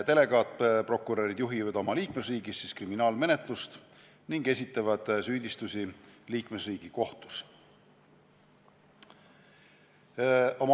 Delegaatprokurörid juhivad oma liikmesriigis kriminaalmenetlust ning esitavad süüdistusi liikmesriigi kohtus.